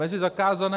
Mezi zakázané...